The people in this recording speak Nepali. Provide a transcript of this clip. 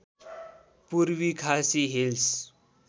पूर्वी खासी हिल्स